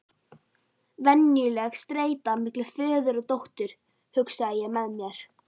Venjuleg streita milli föður og dóttur, hugsaði ég með mér.